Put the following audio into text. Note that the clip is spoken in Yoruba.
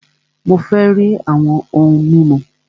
Mó fẹ rí àwọn òhún mímu!